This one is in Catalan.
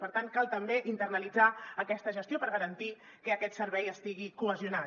per tant cal també internalitzar aquesta gestió per garantir que aquest servei estigui cohesionat